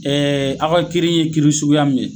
aw ka kiiri ye kiiri suguya min ye